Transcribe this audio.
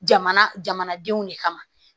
Jamana jamanadenw de kama